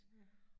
Ja